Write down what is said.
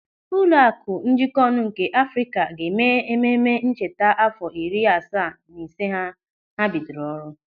Ụlọaku Njikonu nke Afrịka ga-eme ememme ncheta àfọ iri asaa na ise ha bidoro ọrụ.